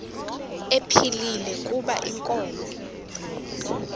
ephilile kuba inkomo